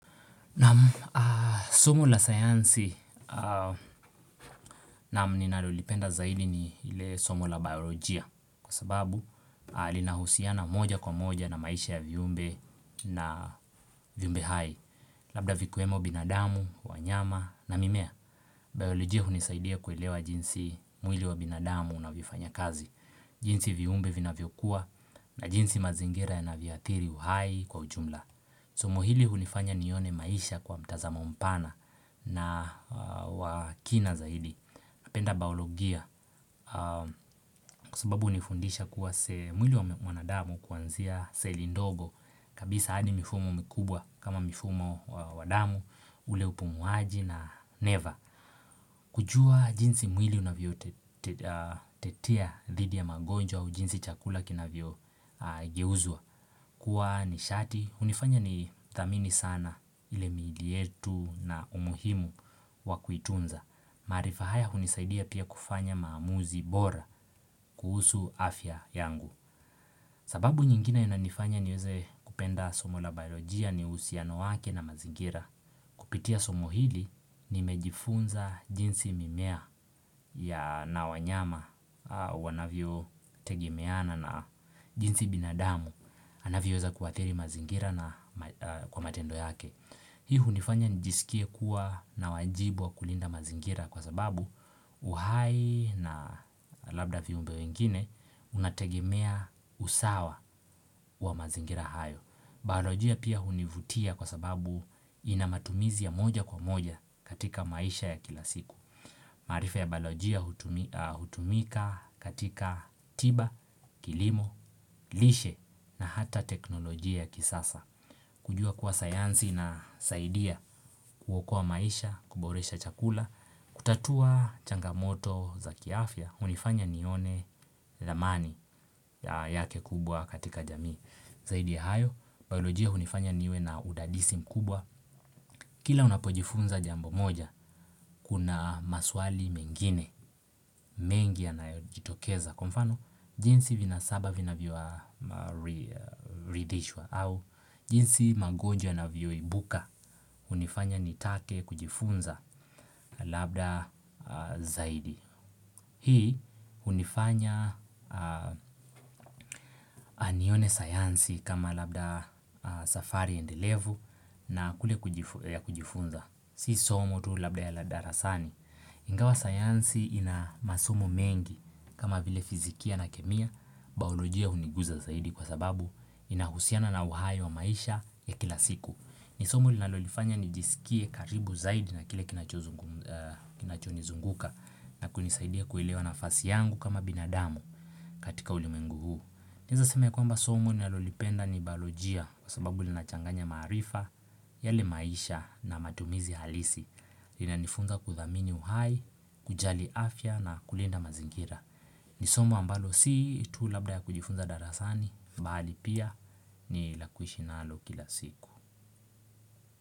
Nam sumu la sayansi na mni nalolipenda zaidi ni ile somo la biolojia kwa sababu alina husiana moja kwa moja na maisha ya viumbe na viumbe hai. Labda vikiwemo binadamu, wanyama na mimea. Biolojia hunisaidia kuelewa jinsi mwili wa binadamu unavyofanya kazi. Jinsi viumbe vinavyokuwa na jinsi mazingira yanavyoathiri uhai kwa ujumla. Somo hili hunifanya nione maisha kwa mtazamo mpana na wakina zaidi Apenda baologia kwa sababu unifundisha kuwa semwili wanadamu kuanzia seli ndogo kabisa adi mifumo mkubwa kama mifumo wadamu ule upumuaji na neva kujua jinsi mwili unavytet tetia dhidi ya magonjwa au jinsi chakula kina vyogeuzwa Kua nishati, unifanya ni thamini sana ile miilietu na umuhimu wa kuitunza. Maarifahaya hunisaidia pia kufanya maamuzi bora kuhusu afya yangu. Sababu nyingine inanifanya niweze kupenda somo la biolojia ni husiano wake na mazingira. Kupitia somo hili, nimejifunza jinsi mimea ya nawanyama, wanavyo tegemeana na jinsi binadamu. Anavyoweza kuathiri mazingira na kwa matendo yake. Hii hunifanya nijiskie kuwa na wajibu wa kulinda mazingira kwa sababu uhai na labda viumbe wengine unategemea usawa wa mazingira hayo. Biolojia pia hunivutia kwa sababu inamatumizi ya moja kwa moja katika maisha ya kilasiku. Maarifa ya balojia hutumi hutumika katika tiba, kilimo, lishe na hata teknolojia kisasa. Kujua kuwa sayansi na saidia kuwokoa maisha, kuboresha chakula, kutatua changamoto za kiafya, hunifanya nione lamani yake kubwa katika jamii. Zaidi ya hayo, biolojia hunifanya niwe na udadisi mkubwa Kila unapojifunza jambo moja, kuna maswali mengine, mengi yanayojitokeza Kwa mfano, jinsi vina saba vinavyoa mari ridhishwa au jinsi magonjwa yanavyoibuka, unifanya nitake kujifunza labda zaidi Hii hunifanya anione sayansi kama labda safari endelevu na kule kujifunza Si somo tu labda ya ladarasani Ingawa sayansi ina masomo mengi kama vile fizikia na kemia Baolojia huniguza zaidi kwa sababu inahusiana na uhai wa maisha ya kilasiku Nisomo linalonifanya nijiskie karibu zaidi na kile kinachozungum kinachonizunguka na kunisaidia kuelewa nafasi yangu kama binadamu katika ulimwengu huu. Naeza sema ya kwamba somo nalolipenda ni balojia kwa sababu linachanganya maarifa, yale maisha na matumizi halisi. Inanifunza kuthamini uhai, kujali afya na kulinda mazingira. Nisomo ambalo si tu labda ya kujifunza darasani, bali pia ni lakuishi na alo kila siku.